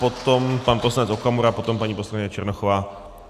Potom pan poslanec Okamura, potom paní poslankyně Černochová.